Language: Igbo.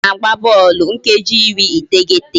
A na-agba bọọlụ nkeji iri iteghete